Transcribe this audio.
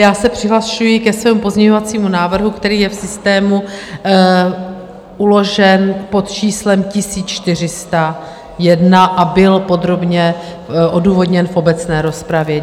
Já se přihlašuji ke svému pozměňovacímu návrhu, který je v systému uložen pod číslem 1401 a byl podrobně odůvodněn v obecné rozpravě.